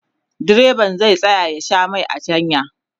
direban zai tsaya ya Sha Mai a hanya